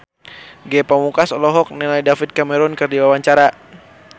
Ge Pamungkas olohok ningali David Cameron keur diwawancara